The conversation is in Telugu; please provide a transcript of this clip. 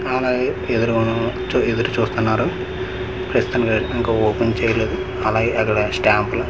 ఎదురుగును చు ఎదురు చూస్తున్నారు ప్రస్తు అయి ఇంకా ఓపెన్ చేయలేదు అలాగే అక్కడ స్టాంప్ లు .